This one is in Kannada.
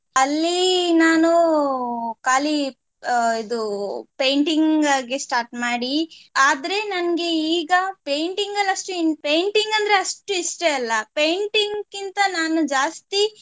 ಅಲ್ಲಿ ನಾನು ಕಾಲಿ ಅಹ್ ಇದು painting ಆಗಿ start ಮಾಡಿ ಆದ್ರೆ ನಂಗ್ ಈಗ painting ಅಲ್ ಅಷ್ಟು int~ painting ಅಂದ್ರೆ ಅಷ್ಟ್ ಇಷ್ಟ ಇಲ್ಲ painting ಕ್ಕಿಂತ ನಾನು ಜಾಸ್ತಿ